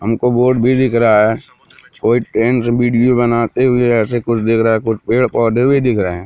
हमको बोर्ड भी दिख रहा है कोई ट्रेन से वीडियो बनाते हुए ऐसे कुछ दिख रहा है कुछ पेड़-पौधे भी दिख रहे हैं।